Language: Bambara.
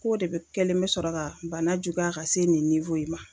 K'o de bɛ kɛlen bɛ sɔrɔ ka bana juguya ka se nin in ma.